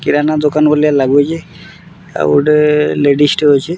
କିରାନା ଦୋକାନ୍‌ ଭଲିଆ ଲାଗୁଛେ ଆଉ ଗୋଟେ ଲେଡିସ୍‌ ଟେ ଅଛେ।